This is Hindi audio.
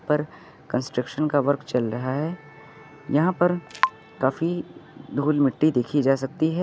पर कंस्ट्रक्शन का वर्क चल रहा है यहां पर काफी धूल मिट्टी देखी जा सकती है।